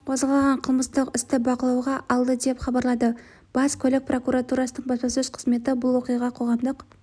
қозғалған қылмыстық істі бақылауға алды деп хабарлады бас көлік прокуратурасының баспасөз қызметі бұл оқиға қоғамдық